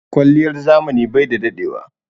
Kwaliyar zamani bai daɗewa.